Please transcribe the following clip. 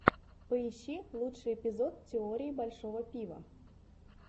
поищи лучший эпизод теории большого пива